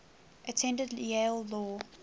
attended yale law